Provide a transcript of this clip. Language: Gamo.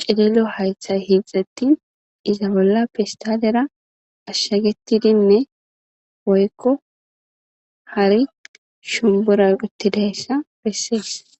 cililo matay garsara uttides iza bola pestalera ashaqetidinne woylo hare shumbura utti dizaysa besses